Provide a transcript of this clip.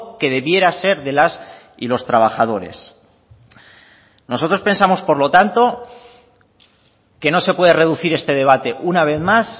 que debiera ser de las y los trabajadores nosotros pensamos por lo tanto que no se puede reducir este debate una vez más